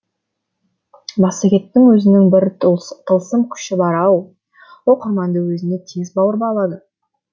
массагеттің өзінің бір тылсым күші бар ау оқырманды өзіне тез баурап алады